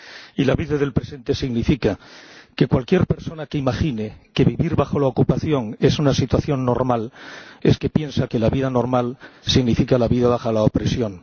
Y la vida del presente significa que cualquier persona que imagine que vivir bajo la ocupación es una situación normal es que piensa que la vida normal significa la vida bajo la opresión.